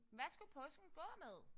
Hvad skulle påsken gå med?